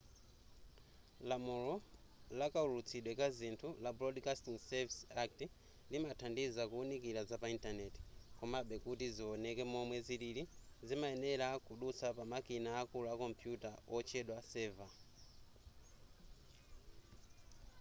lamulo lakaulutsidwe kazinthu la broadcasting services act limathandiza kuwunikira zapa intaneti komabe kuti ziwoneke momwe zilili zimayenera kudutsa pamikina akulu a kompuyuta otchedwa server